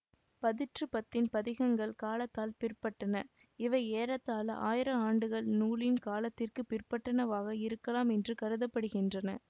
பதிற்றுப்பத்தின் பதிகங்கள் காலத்தால் பிற்பட்டன இவை ஏறத்தாழ ஆயிரம் ஆண்டுகள் நூலின் காலத்திற்க்குப் பிற்பட்டனவாக இருக்கலாம் என்று கருத படுகின்றன